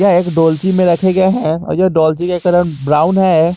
यह एक डोलची में रखे गए हैं और यह डोलची का कलर ब्राउन है।